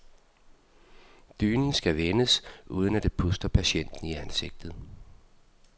Dynen skal vendes, uden at det puster patienten i ansigtet.